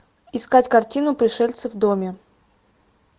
искать картину пришельцы в доме